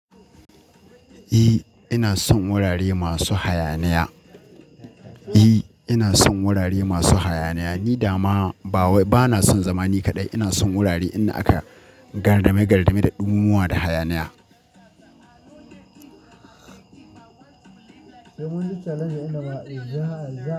E, ina son wurare masu hayaniya. E, ina son wurare masu hayaniya. Ni dama ba wai bana son zamani kaɗai. Ina son wurare inda aka gardame gardame da ɗumamuwa da hayaniya.